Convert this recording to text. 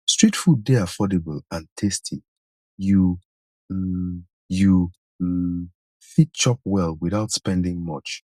street food dey affordable and tasty you um you um fit chop well without spending much